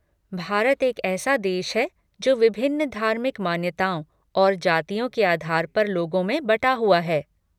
भारत एक ऐसा देश है जो विभिन्न धार्मिक मान्यताओं और जातियों के आधार पर लोगों में बटा हुआ है।